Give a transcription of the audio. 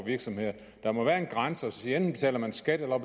virksomhederne der må være en grænse enten betaler man skat eller